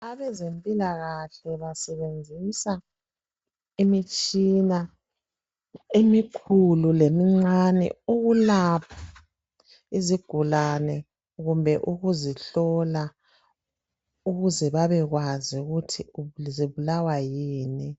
abezempilakahle basebenzisa imitshina emikhulu lemincane ukulapha izigulane kumbe ukuzihlola ukuze bebekwazi ukuthi zibulawa yikuyini